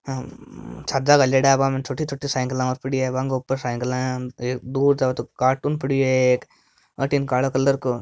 हम्म छाजा गाल्योड़ा बामे छोटी छोटी साइकिल पड़ी है बांके ऊपर साइकिल है दो कार्टून पड़यो है एक अठीने काला कलर काे --